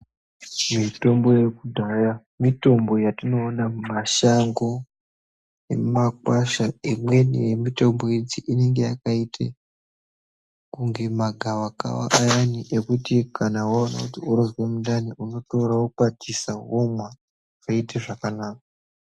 Mitombo yekudhaya mitombo yatinoona mumashango nemumakwasha imweni yemitombo idzi inenge yakaite kunge magavakava ayani ekuti kana waona kuti urikuzwe mundani wotora womakwatisa womwa woite zvakanaka